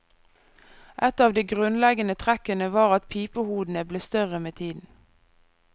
Ett av de grunnleggende trekkene var at pipehodene ble større med tiden.